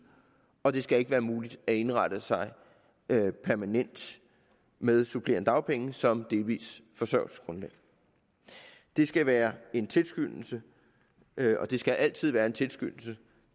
og det skal ikke være muligt at indrette sig permanent med supplerende dagpenge som delvist forsørgelsesgrundlag det skal være en tilskyndelse og det skal altid være en tilskyndelse